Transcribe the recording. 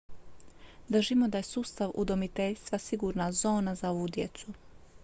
držimo da je sustav udomiteljstva sigurna zona za ovu djecu